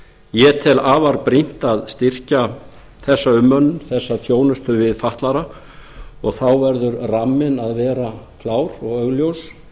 ég tel afar brýnt að styrkja þessa umönnun þessa þjónustu við fatlaða og þá verður ramminn að vera klár og augljós